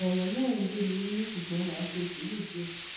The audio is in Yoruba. ọrọ náà ń gbé mi nínú ṣùgbọn má a ṣe sùúrù díẹ